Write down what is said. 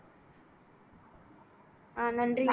ஆஹ் நன்றி